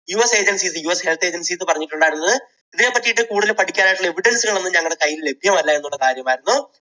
US agencies, US health agencies പറഞ്ഞിട്ടുണ്ടായിരുന്നത് ഇതിനെപ്പറ്റി കൂടുതൽ പഠിക്കാനുള്ള evidence കൾ ഒന്നും ഞങ്ങളുടെ കയ്യിൽ ലഭ്യമല്ല എന്നുള്ള കാര്യം ആയിരുന്നു.